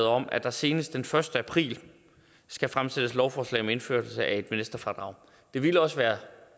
om at der senest den første april skal fremsættes lovforslag om indførelse af et investorfradrag det ville også være